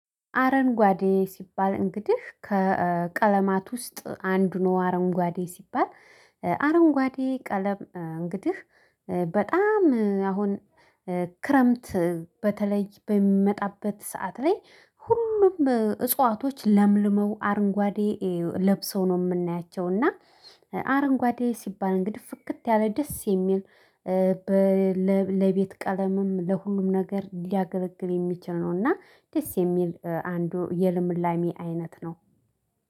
አረንጓዴ ሲባል እንግዲህ ከቀለማት ውስጥ አንዱ ነው። አረንጓዴ ሲባል አረንጓዴ ቀለም እንግዲህ በጣም አሁን ክረምት በተለይ በሚመጣበት ሰዓት ላይ ሁሉም እጽዋቶች ለምልመው አረንጓዴ ለብሰው ነው። ምናያቸው እና አረንጓዴ ሲባል እንግዲህ ፍክት ያለ ደስ የሚል። ለቤት ቀለምም ለሁሉም ነገር ሊያገለግል የሚችል ነው። እና ደስ የሚል አንዱ የልምላሜ አይነት ነው